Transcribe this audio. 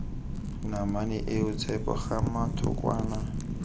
namane eo tshepo gama thokwana